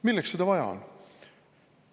Milleks seda vaja on?